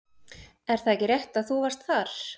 Er það ekki rétt að þú varst þar?